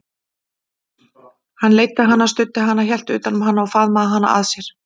Hann leiddi hana, studdi hana, hélt utan um hana, faðmaði hana að sér.